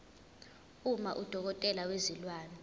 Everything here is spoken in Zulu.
uma udokotela wezilwane